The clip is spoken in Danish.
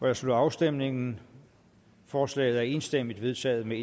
jeg slutter afstemningen forslaget er enstemmigt vedtaget med